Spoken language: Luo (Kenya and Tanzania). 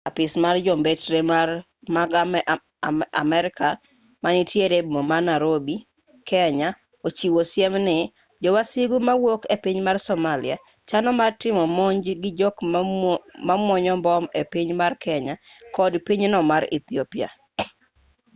apis mar jombetre mag amerka manitiere e boma ma narobi kenya ochiwo siem ni jo wasigu mawuok e piny mar somalia chano mar timo monj gi jok momuonyo mbom ei piny mar kenya kod pinyno mar ethiopia